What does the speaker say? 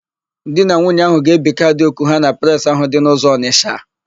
Di na nwunye áhụ̀ ga-ebi kaadị òkù ha na Presị ahụ dị n'ụzọ Ọnịsha.